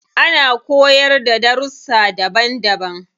Ana koyarda da darussa daban daban.